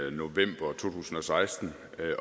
i november to tusind og seksten